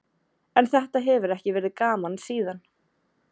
En þetta hefur ekki verið gaman síðan.